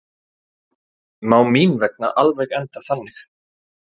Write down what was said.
Má mín vegna alveg enda þannig.